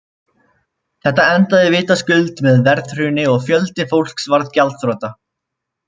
Þetta endaði vitaskuld með verðhruni og fjöldi fólks varð gjaldþrota.